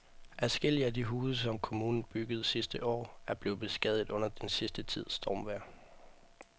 Adskillige af de huse, som kommunen byggede sidste år, er blevet beskadiget under den sidste tids stormvejr.